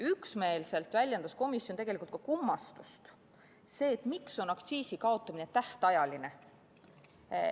Üksmeelselt väljendas komisjon kummastust selle üle, miks on aktsiisi kaotamine tähtajaline.